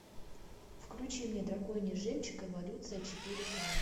включи мне драконий жемчуг эволюция четыре ка